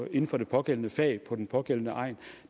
inden for det pågældende fag på den pågældende egn